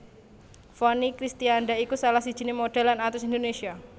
Vonny Kristianda iku salah sijiné modhèl lan aktris Indonésia